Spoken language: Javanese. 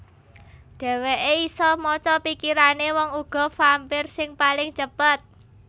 Dhéwéké isa maca pikirané wong uga vampir sing paling cepet